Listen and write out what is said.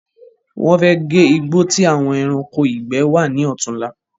Wọ́n fẹ́ gé igbó ti àwọn ẹranko ìgbẹ́ wa ni ọ̀tún la